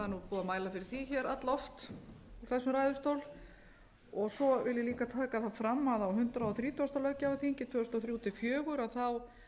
að mæla fyrir hér all oft úr þessum ræðustól svo vil ég líka taka það fram að á hundrað þrítugasta löggjafarþingi tvö þúsund og þrjú til tvö þúsund og fjögur